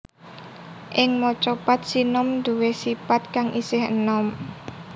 Ing Macapat sinom nduwé sipat kang isih enom